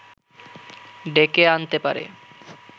ডেকে আনতে পারে